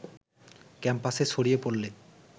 ক্যাম্পাসে ছড়িয়ে পড়লে